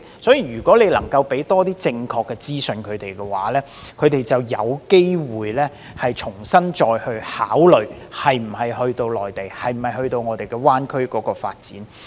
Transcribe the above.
因此，如果政府能夠多向他們提供正確資訊，他們便有機會重新考慮是否前往內地或灣區發展。